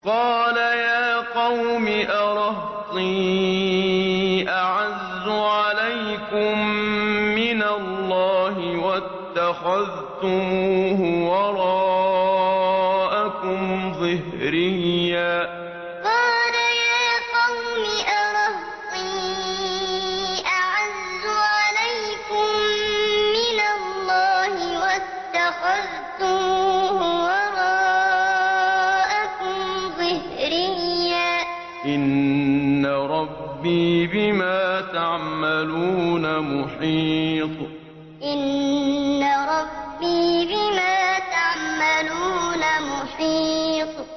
قَالَ يَا قَوْمِ أَرَهْطِي أَعَزُّ عَلَيْكُم مِّنَ اللَّهِ وَاتَّخَذْتُمُوهُ وَرَاءَكُمْ ظِهْرِيًّا ۖ إِنَّ رَبِّي بِمَا تَعْمَلُونَ مُحِيطٌ قَالَ يَا قَوْمِ أَرَهْطِي أَعَزُّ عَلَيْكُم مِّنَ اللَّهِ وَاتَّخَذْتُمُوهُ وَرَاءَكُمْ ظِهْرِيًّا ۖ إِنَّ رَبِّي بِمَا تَعْمَلُونَ مُحِيطٌ